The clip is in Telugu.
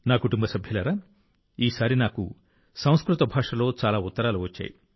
నా కుటుంబ సభ్యులారా ఈసారి నాకు సంస్కృత భాషలో చాలా ఉత్తరాలు వచ్చాయి